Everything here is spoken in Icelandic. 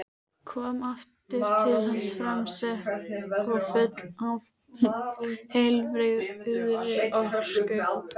Kom aftur til hans framsett og full af heilbrigðri orku.